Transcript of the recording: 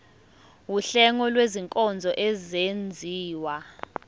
wuhlengo lwezinkonzo ezenziwa